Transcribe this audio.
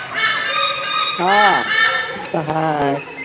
हा ते तर हाय.